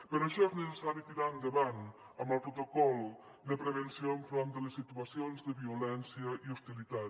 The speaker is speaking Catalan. per això és necessari tirar endavant el protocol de prevenció enfront de les situacions de violència i hostilitat